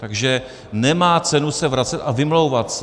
Takže nemá cenu se vracet a vymlouvat se.